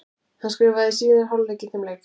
Hann skoraði í síðari hálfleik í þeim leik.